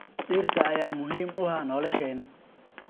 Dhirta ayaa muhiim u ah nolosheenna.